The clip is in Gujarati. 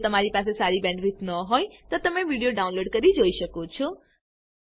જો તમારી પાસે સારી બેન્ડવિડ્થ ન હોય તો તમે વિડીયો ડાઉનલોડ કરીને જોઈ શકો છો